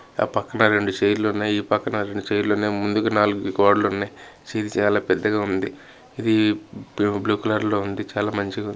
ఆ పక్కన రెండు చైర్ లు ఉన్నాయి ఈ పక్కన రెండు చై లు ఉన్నాయి. ముందుకి నాలుగు గోడలు ఉన్నాయి ఇది చాలా పెద్దగా ఉంది. ఇది బ్లూ-బ్లూ కలర్ ఉంది. చాలా మంచిగా ఉంది.